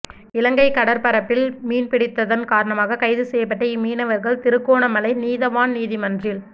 இலங்கை கடற்பரப்பில் மீன்பிடித்ததன் காரணமாக கைதுசெய்யப்பட்ட இம்மீனவர்கள் திருகோணமலை நீதவான் நீதிமன்றில்